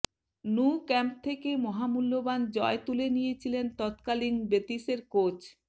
Nou Camp থেকে মহামূল্যবান জয় তুলে নিয়েছিলেন তৎকালীন বেতিসের কোচ